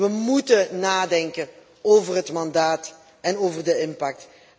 We moeten nadenken over het mandaat en over de impact.